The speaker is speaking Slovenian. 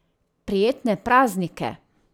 Prijetne praznike!